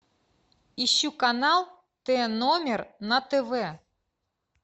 ищу канал т номер на тв